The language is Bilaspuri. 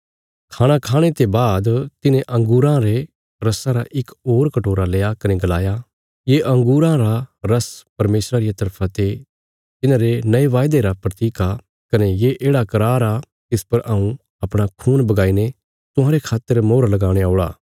खाणा खाणे ते बाद तिन्हे अंगूरां रे रस्सा रा इक होर कटोरा लेआ कने गलाया ये अंगूरां रा रस्स परमेशरा रिया तरफा ते तिन्हारे नये वायदे रा प्रतीक आ कने ये येढ़ा करार आ तिस पर हऊँ अपणा खून बगाई ने तुहांरे खातर मोहर लगाणे औल़ा